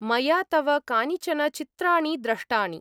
मया तव कानिचन चित्राणि द्रष्टानि।